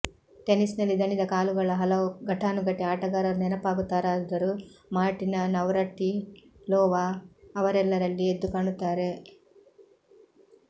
ಟೆನಿಸ್ನಲ್ಲಿ ದಣಿದ ಕಾಲುಗಳ ಹಲವು ಘಟಾನುಘಟಿ ಆಟಗಾರರು ನೆನಪಾಗುತ್ತಾರಾದರೂ ಮಾರ್ಟಿನಾ ನವ್ರಾಟಿಲೋವಾ ಅವರೆಲ್ಲರಲ್ಲಿ ಎದ್ದುಕಾಣುತ್ತಾರೆ